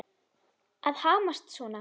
Að hamast svona.